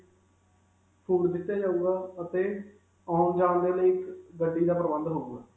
food ਦਿੱਤਾ ਜਾਉਗਾ ਅਤੇ ਆਉਣ-ਜਾਣ ਦੇ ਲਈ, ਇਕ ਗੱਡੀ ਦਾ ਪ੍ਰਬੰਧ ਹੋਵੇਗਾ.